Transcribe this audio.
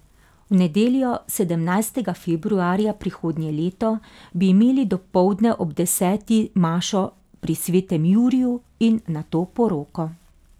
V nedeljo, sedemnajstega februarja prihodnje leto, bi imeli dopoldne ob deseti mašo pri svetem Juriju in nato poroko.